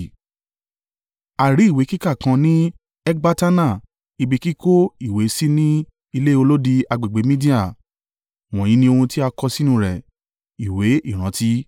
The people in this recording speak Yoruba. A rí ìwé kíká kan ní Ekbatana ibi kíkó ìwé sí ní ilé olódi agbègbè Media, wọ̀nyí ni ohun tí a kọ sínú rẹ̀. Ìwé ìrántí.